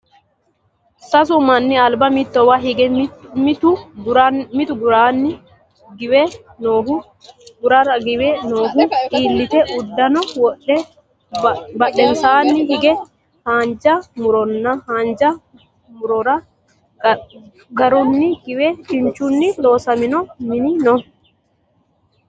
Sasu manni Alba mittowa higge mittu guraanni give noohu illete uddano wodhe badhensaanni higge haanja muronna haanja murora guraanni give kinchunni loosamino mini no